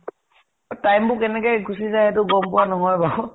time বোৰ কেনেকে গুছি যায় সেইটো গম পোৱা নহয় বাউ।